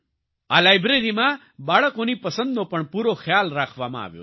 આ લાયબ્રેરીમાં બાળકોની પસંદનો પણ પૂરો ખ્યાલ રાખવામાં આવ્યો છે